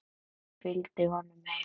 Ég fylgdi honum heim.